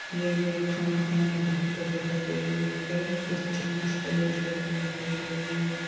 ये भी एक खाना खाने की होटल दिखाई दे रही है यहाँ पर कुछ चम्मच प्लेट रखी हुई दिखाई दे रही है यहाँ पर।